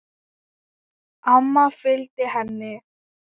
Amma fylgdi henni.